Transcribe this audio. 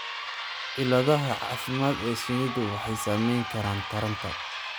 Cilladaha caafimaad ee shinnidu waxay saamayn karaan taranta.